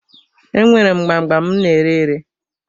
Enwere m gbam gbam m na-ere ere.